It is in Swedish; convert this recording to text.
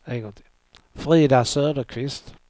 Frida Söderqvist